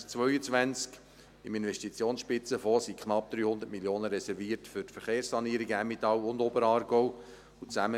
Im Investitionsspitzenfonds sind knapp 300 Mio. Franken für die Verkehrssanierungen Emmental und Oberaargau reserviert.